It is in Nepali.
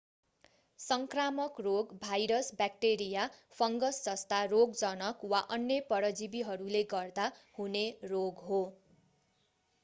सङ्क्रामक रोग भाइरस ब्याक्टेरिया फङ्गस जस्ता रोगजनक वा अन्य परजीवीहरूले गर्दा हुने रोग हो